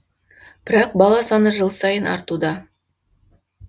бірақ бала саны жыл сайын артуда